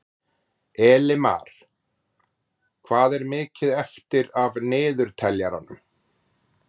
Elimar, hvað er mikið eftir af niðurteljaranum?